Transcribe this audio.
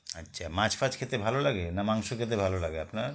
আচ্ছা মাছ ফাছ খেতে ভালো লাগে না মাংস খেতে ভালো লাগে আপনার